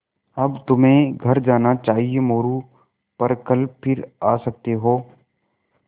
अब तुम्हें घर जाना चाहिये मोरू पर कल फिर आ सकते हो